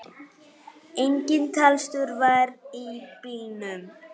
Engin talstöð var í bílnum.